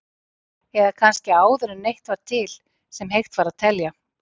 Eða kannski áður en neitt var til sem hægt var að telja?